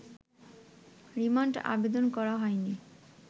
remand আবেদন করা হয়নি’